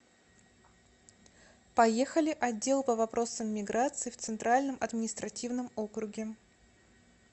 поехали отдел по вопросам миграции в центральном административном округе